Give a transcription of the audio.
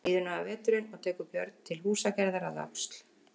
Líður nú af veturinn og tekur Björn til húsagerðar að Öxl.